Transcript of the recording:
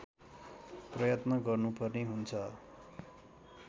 प्रयत्न गर्नुपर्ने हुन्छ